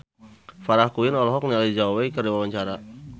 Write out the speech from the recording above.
Farah Quinn olohok ningali Zhao Wei keur diwawancara